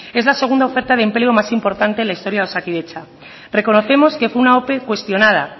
es la segunda oferta de empleo más importante en la historia de osakidetza reconocemos que fue una ope cuestionada